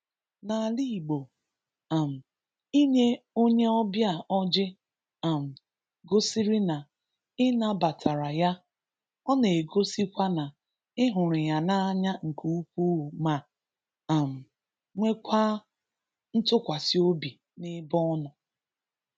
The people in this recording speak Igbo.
N’alà Igbò, um inyè onyè ọ̀bịà ọ̀jị̀ um gosìrí na ị̀ nàbàtàrà yà, ọ̀ na-egosìkwa na ị̀ hụrụ yà n’anyà nkè ukwuù mà um nwèkwàà ntùkwàsì obì n’ebè ọ̀ nọ̀.